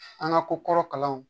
An ka ko kɔrɔ kalanw